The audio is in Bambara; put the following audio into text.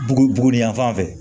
Bugu buguni yanfan fɛ